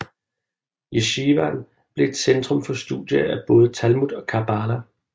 Yeshivaen blev et centrum for studier af både Talmud og Kabbala